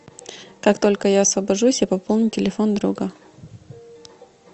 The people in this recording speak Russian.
как только я освобожусь я пополню телефон друга